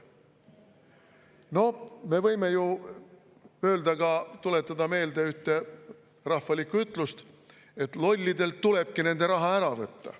Noh, me võime ju tuletada meelde ühte rahvalikku ütlust, et lollidelt tulebki nende raha ära võtta.